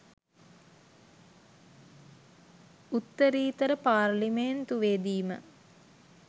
උත්තරීතර පාර්ලිමේන්තුවේදීම